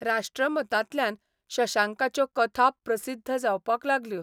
राष्ट्रमतांतल्यान शशांकाच्यो कथा प्रसिद्ध जावपाक लागल्यो.